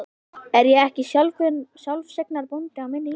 Er ég ekki sjálfseignarbóndi á minni jörð?